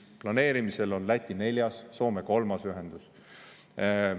Planeerimisel on Läti neljas, Soome kolmas ühendus.